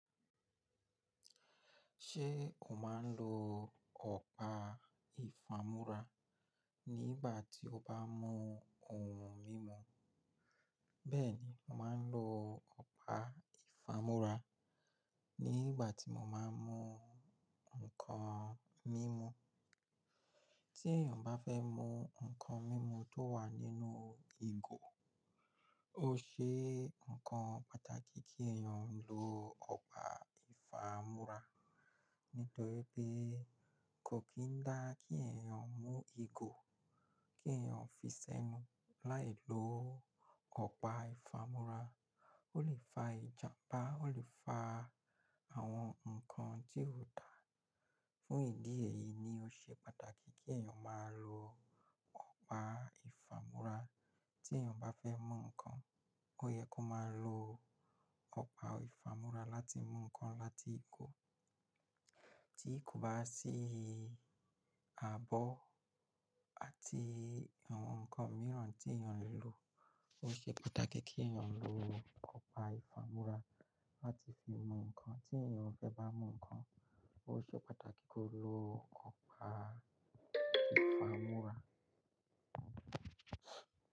Ṣé o máa ń lo ọ̀pá ìfámúrá nígbà tí o bá mú ohun mímu? Bẹ́ẹ̀ni, mo máa ń lo ọ̀pá ìfámúrá nígbà tí mo máa ń mú nǹkan mímu. Tí èèyàn bá fẹ́ mú nǹkan mímu tó wà nínú ìgò, ó ṣe nǹkan pàtàkì kí èèyàn lo ọ̀pá ìfámúrá. Nítorí pé kò kí ń dá kí èèyàn mú ìgò, kí èèyàn fi sẹ́nu láì lo ọ̀pá ìfámúrá. Ó lè fa ìjàmbá, ó lè fa àwọn nǹkan tí ò dáa. Fún ìdí èyí ni ó ṣe pàtàkì kí èèyàn máa lo ọ̀pá ìfámúrá. Tí èèyàn bá fẹ́ mú nǹkan, ó yẹ kó máa lo ọ̀pá ìfámúrá láti mú nǹkan láti ìgò. Tí ko bá sì àbọ́ àti àwọn nǹkan mìíràn tí èèyàn lè lo, ó ṣe pàtàkì kí èèyàn lo ọ̀pá ìfámúrá láti fi mú nǹkan. Tí èèyàn fẹ́ bá mú nǹkan, ó ṣe pàtàkì kó lo ọ̀pá ìfámúrá.